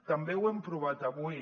també ho hem provat avui